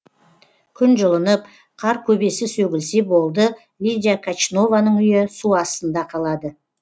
күн жылынып қар көбесі сөгілсе болды лидия качнованың үйі су астында қалады